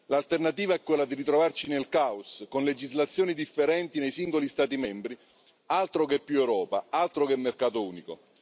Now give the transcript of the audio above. L'alternativa è quella di ritrovarsi nel caos, con legislazioni differenti nei singoli Stati membri altro che più Europa, altro che mercato unico!